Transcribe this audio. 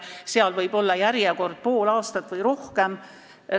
Järjekord võib olla pool aastat või pikem.